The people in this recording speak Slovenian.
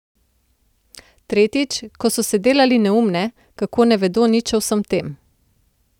Tretjič, ko so se delali neumne, kako ne vedo nič o vsem tem.